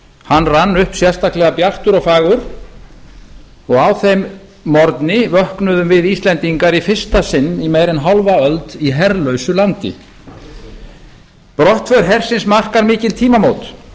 hann rann upp sérstaklega bjartur og fagur og á þeim morgni vöknuðum við íslendingar í fyrsta sinn í meira en hálfa öld í herlausu landi brottför hersins markar mikil tímamót